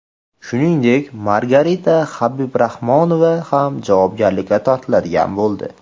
Shuningdek, Margarita Habibrahmanova ham javobgarlikka tortiladigan bo‘ldi.